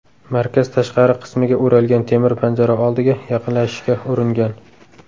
markaz tashqari qismiga o‘ralgan temir panjara oldiga yaqinlashishga uringan.